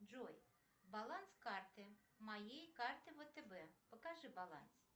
джой баланс карты моей карты втб покажи баланс